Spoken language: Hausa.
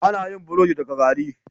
Ana yin burodi daga gari